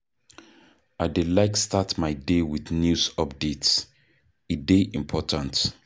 I dey like start my day with news updates, e dey important.